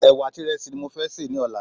Ẹ̀wà àti ìrẹsì ni mo fé sè ní ọ̀la